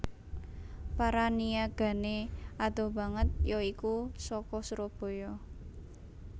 Para niyagané adoh banget ya iku saka Surabaya